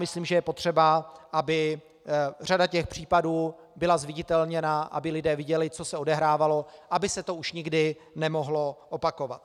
Myslím, že je potřeba, aby řada těch případů byla zviditelněná, aby lidé viděli, co se odehrávalo, aby se to už nikdy nemohlo opakovat.